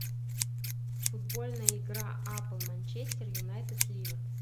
футбольная игра апл манчестер юнайтед ливер